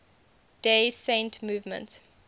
day saint movement